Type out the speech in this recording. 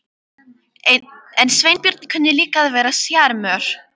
En Sveinbjörn kunni líka að vera sjarmör.